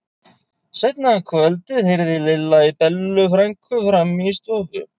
Seinna um kvöldið heyrði Lilla í Bellu frænku frammi í stofu.